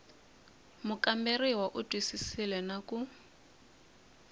mukamberiwa u twisisile na ku